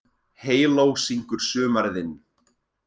Heyló syngur sumarið inn,